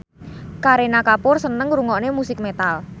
Kareena Kapoor seneng ngrungokne musik metal